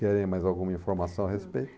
Querem mais alguma informação a respeito?